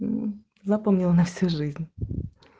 запомнил на всю жизнь